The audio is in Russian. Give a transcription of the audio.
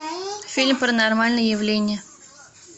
фильм паранормальное явление